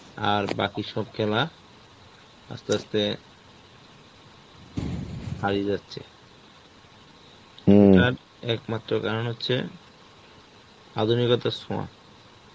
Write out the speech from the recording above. আর বাকি সব খেলা আস্তে আস্তে হারিয়ে যাচ্ছে. তার একমাত্র কারণ হচ্ছে আধুনিকতার ছোঁয়া,